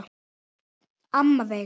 Amma Veiga.